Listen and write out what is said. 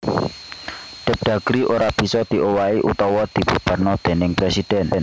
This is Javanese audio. Depdagri ora bisa diowahi utawa dibubarkna déning presidhèn